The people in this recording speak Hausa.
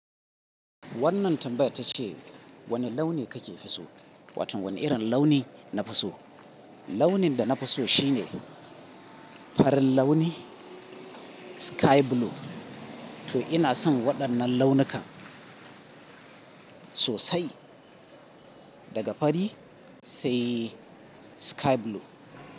Wannan tambayar tace wane launi kake so? Wato wane irin launi nafi so. Launin da nafi so shine farin launi sky blue. To ina son waɗannan launuka sosai daga fari sai sky blue.